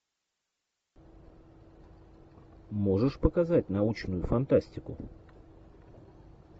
можешь показать научную фантастику